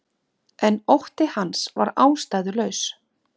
En hjartað var mér ekki þægt þá, ekki fremur en nú.